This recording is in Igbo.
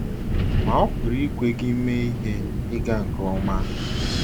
Ma, ọ pụrụ ikwe gị mee ihe ịga nke ọma!